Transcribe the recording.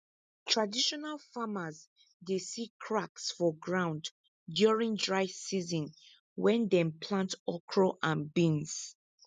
traditional farmers dey see cracks for ground during dry season when dem plant okra and beans